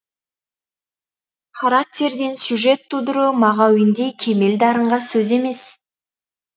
характерден сюжет тудыру мағауиндей кемел дарынға сөз емес